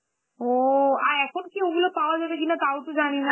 ও, আর এখন কি ওগুলো পাওয়া যাবে কিনা তাও তো জানিনা